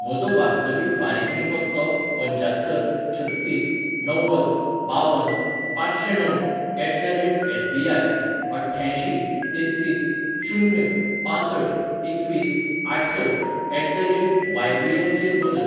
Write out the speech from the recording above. म्हजोवास्तवीक फारिकणी पत्तो पंच्यात्तर छत्तीस णव्वद बावन पांचशेंणव at the rate S B I अठ्ठ्यांयशीं तेत्तीस शून्य पांसठ एकवीस आठसठ एट द रेट वायबीएल चेर बदल.